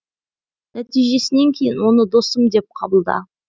нәтижесінен кейін оны досым деп қабылда